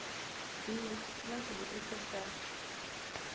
b xi na xivutiso xa